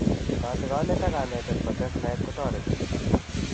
Katiganet ak kanetet kotes naet kotareti